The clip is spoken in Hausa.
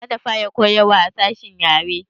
Za ta fara koyarwa a sashen yare